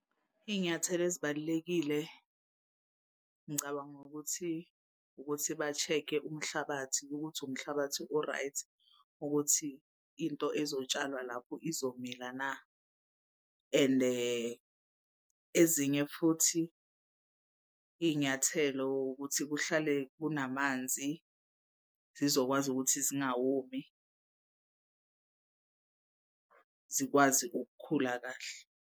Iy'nyathelo ezibalulekile ngicabanga ukuthi, ukuthi ba-check-e umhlabathi ukuthi umhlabathi o-right ukuthi into ezotsalwa lapho izomilana ende ezinye futhi iy'nyathelo ukuthi kuhlale kunamanzi zizokwazi ukuthi zingawomi zikwazi ukukhula kahle.